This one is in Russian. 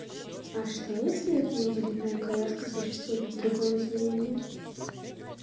а что если это инвалидная коляска существует в другом измерении